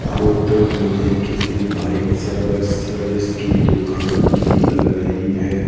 Photo मुझे किसी bike सर्व्स सर्विस की दुकान की लग रही है।